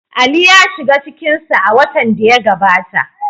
Ali ya shiga cikin su a watan da ya gabata.